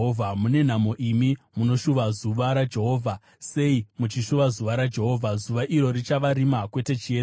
Mune nhamo imi munoshuva zuva raJehovha! Sei muchishuva zuva raJehovha? Zuva iro richava rima kwete chiedza.